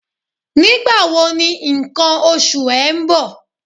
Nígbà wo ni ǹkan oṣù ẹ ń bọ̀?